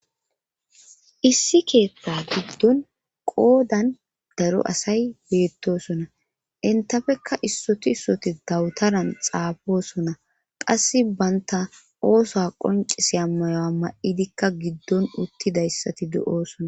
issi keeththa giddon qoodan daro asay beettosona intafekka issoti issoti dawutaran xaafosona qasse banta oosoa qoncisiya mayuwa ma7idikka giddon uttidayssati du7oosona